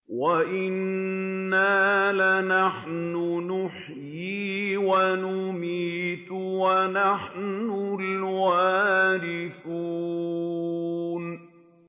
وَإِنَّا لَنَحْنُ نُحْيِي وَنُمِيتُ وَنَحْنُ الْوَارِثُونَ